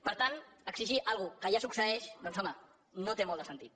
per tant exigir una cosa que ja succeeix doncs home no té molt de sentit